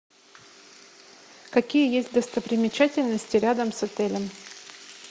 какие есть достопримечательности рядом с отелем